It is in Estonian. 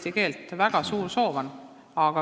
Neil on selleks väga suur soov.